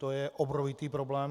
To je obrovitý problém.